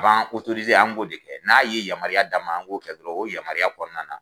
A ban an k'o de kɛ, n'a ye yamaruya d'an ma an k'o kɛ dɔrɔn o yamaruya kɔnɔna na